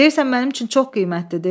Deyirsən mənim üçün çox qiymətlidir?